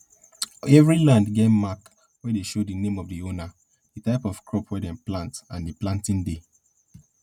every land get mark wey dey show di name of di owner di type of crop wey dem plant and di planting day